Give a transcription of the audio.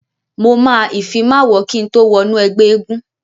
Mo máa ìfimáwọ kín tó wọnú ẹgbẹ́ eégún.